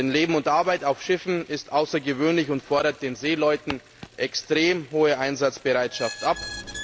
Denn das Leben und Arbeiten auf Schiffen ist außergewöhnlich und fordert den Seeleuten eine extrem hohe Einsatzbereitschaft ab.